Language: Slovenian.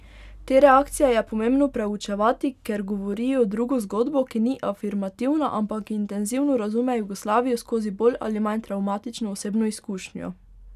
Te reakcije je pomembno preučevati, ker govorijo drugo zgodbo, ki ni afirmativna, ampak intenzivno razume Jugoslavijo skozi bolj ali manj travmatično osebno izkušnjo.